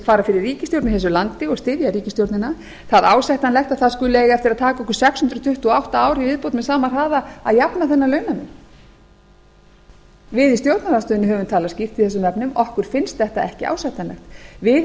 fara fyrir ríkisstjórn í þessu landi og styðja ríkisstjórnina það ásættanlegt að skuli eiga eftir að taka okkur sex hundruð tuttugu og átta ára í viðbótmeð sama hraða að jafna þennan launamun við í stjórnarandstöðunni höfum talað skýrt í þessum efnum okkur finnst þetta ekki ásættanlegt við